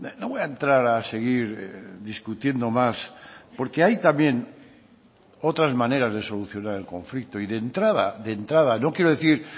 no voy a entrar a seguir discutiendo más porque hay también otras maneras de solucionar el conflicto y de entrada de entrada no quiero decir